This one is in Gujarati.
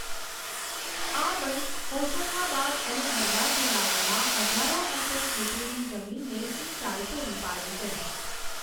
આ બંધ હોશંગાબાદ અને હરદા જિલ્લાઓમાં હજારો હેક્ટર ખેતીની જમીનને સિંચાઈ પૂરી પાડે છે.